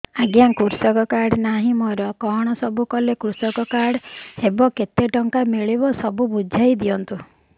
ଆଜ୍ଞା କୃଷକ କାର୍ଡ ନାହିଁ ମୋର କଣ ସବୁ କଲେ କୃଷକ କାର୍ଡ ହବ କେତେ ଟଙ୍କା ମିଳିବ ସବୁ ବୁଝାଇଦିଅନ୍ତୁ